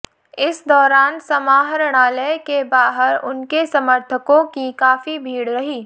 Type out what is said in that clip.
इस दौरान समाहरणालय के बाहर उनके समर्थकों की काफी भीड़ रही